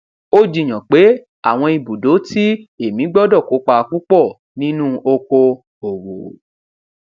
ó jiyàn pé àwọn ibùdó ti èmí gbọdọ kópa púpọ nínú oko òwò